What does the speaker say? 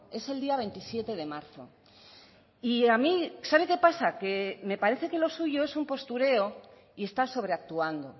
es el día veintisiete de marzo y a mí sabe qué pasa que me parece que lo suyo es un postureo y está sobreactuando